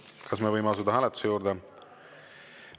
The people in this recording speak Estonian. Kas me võime asuda hääletuse juurde?